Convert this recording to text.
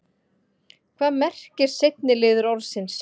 hvað merkir seinni liður orðsins